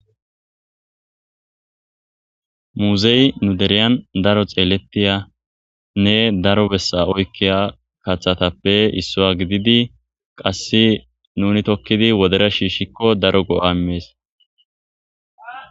muzey nu deriyan daro xeellettiya nne daro bessa oykkiya kathatappe issoya gididi qasse nuni tokkidi wodera shiishikko daro go7aimees